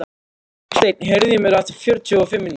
Steinn, heyrðu í mér eftir fjörutíu og fimm mínútur.